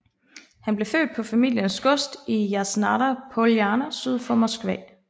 Han blev født på familiens gods i Jasnaja Poljana syd for Moskva